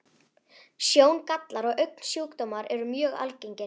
Sjóngallar og augnsjúkdómar eru mjög algengir.